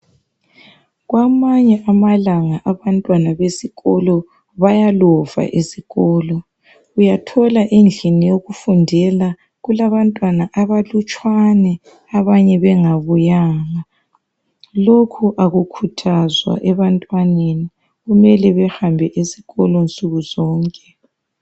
Kwamanye amalanga abantwana besikolo bayalova esikolo. Uyathola endlini yokufundela kulabantwana abalutshwane abanye bengabuyanga. Lokhu akukhuthazwa ebantwaneni. Kumele bahambe esikolo nsukuzonke.